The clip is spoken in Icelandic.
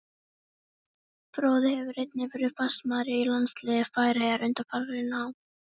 Fróði hefur einnig verið fastamaður í landsliði Færeyja undanfarin ár.